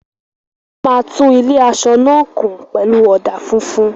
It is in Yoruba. Wọ́n máa tún ilé-aṣọ náà kùn pẹ̀lú ọ̀dà funfun.